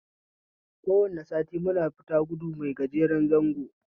Kowane sati muna fita gudu mai gajeren zango